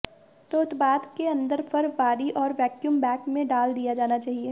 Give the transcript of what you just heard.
तो उत्पाद के अंदर फर बारी और वैक्यूम बैग में डाल दिया जाना चाहिए